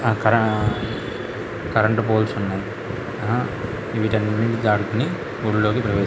అక్కడ current poles ఉన్నాయి వీటి అన్నిటిని దాటుకొని గుడిలోకి ప్రవేశించవచ్చు.